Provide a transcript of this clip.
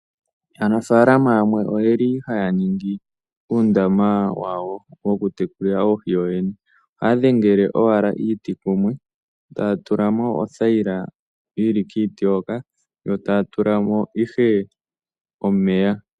Aanafaalama yamwe oyeli haya ningi uundama wawo woku tekulila oohi yooyene. Ohaya dhengele owala iiti kumwe taya tulamo othayila yili kiiti hoka, yo taya tulamo ihe omeya.